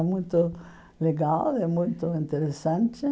É muito legal né, muito interessante.